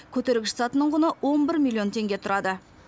көтергіш сатының құны он бір милллион теңге тұрады